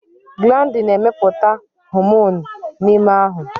Glandi na-emepụta homonụ n'ime ahụ.